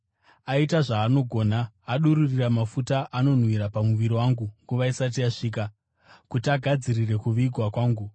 Aita zvaanogona. Adururira mafuta anonhuhwira pamuviri wangu nguva isati yasvika, kuti agadzirire kuvigwa kwangu.